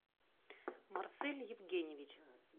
марсель евгеньевич